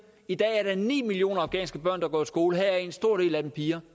i dag er der ni millioner afghanske børn der går i skole og heraf er en stor del af dem piger